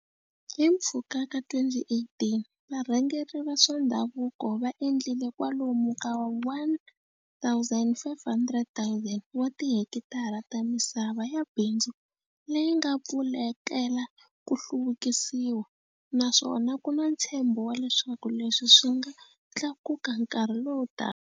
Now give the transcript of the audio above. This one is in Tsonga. Hi mpfhuka ka 2018, varhangeri va swa ndhavuko va endlile kwalomu ka 1 500 000 wa tihekitara ta misava ya bindzu leyi nga pfulekela ku hluvukisiwa, naswona ku na ntshembo wa leswaku leswi swi nga tlakuka nkarhi lowutaka.